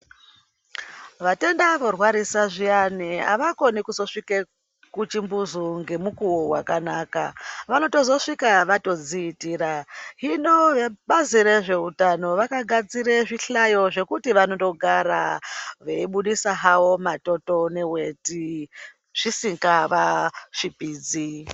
Vatenda vorwarisa zviyani avakoni kusvika kuchimbuzi ngemukuwo wakanaka vanozosvika vazviitira hino Bazi rezvehutano rakagadzira Zvihlayo zvekuti vanogara veibudisa havo matoto neweti Zvisingavasvipidzi.